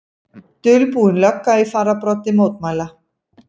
Dulbúin lögga í fararbroddi mótmæla